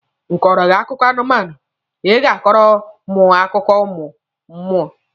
M kọrọ gị akụkọ anụmanụ, Ị ga-akọrọ mụ akụkọ ụmụ mmụọ?